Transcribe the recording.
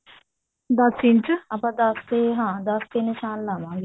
ਦਸ ਇੰਚ ਆਪਾਂ ਦਸ ਤੇ ਹਾਂ ਦਸ ਤੇ ਨਿਸ਼ਾਨ ਲਗਾਵਾਂ ਗੇ